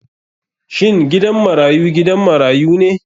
Shin gidan marayu gidan marayu ne?